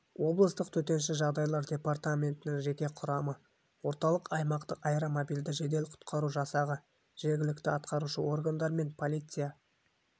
облыстық төтенше жағдайлар департаментінің жеке құрамы орталық аймақтық аэромобильді жедел-құтқару жасағы жергілікті атқарушы органдар мен полиция